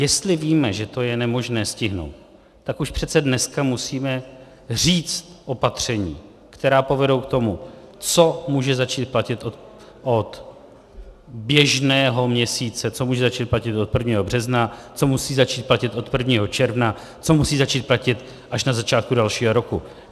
Jestli víme, že to je nemožné stihnout, tak už přece dneska musíme říct opatření, která povedou k tomu, co může začít platit od běžného měsíce, co může začít platit od 1. března, co musí začít platit od 1. června, co musí začít platit až na začátku dalšího roku.